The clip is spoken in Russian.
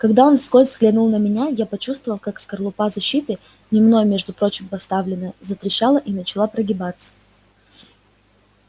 когда он вскользь взглянул на меня я почувствовал как скорлупа защиты не мной между прочим поставленная затрещала и начала прогибаться